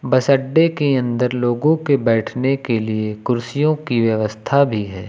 बस अड्डे के अंदर लोगों के बैठने के लिए कुर्सियों की व्यवस्था भी है।